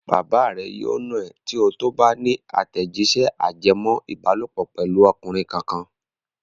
Bàbá rẹ yóò nà ẹ́ tí ó tó bá ní àtẹ̀jíṣẹ́ ajẹmọ́-ìbálòpọ̀ pẹ̀lú ọkùnrin kankan.